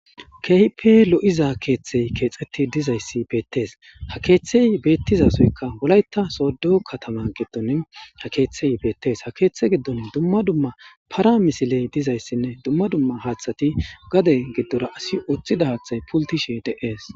Keehipe lo7iza keeththey keexeti dizayssi beettees ha keeththey beettizasoyka wolayta sodo katama giddon ha keeththey beettes ha keeththe giddoni dumma dumma para misiley dizayssinne dumma dumma haaththati gade giddora asi ooththida haaththay pultishe de7ees